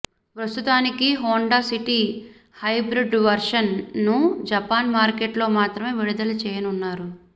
ప్రస్తుతానికి Honda City hybrid వెర్షన్ను Japan మార్కెట్లో మాత్రమే విడుదల చేయనున్నారు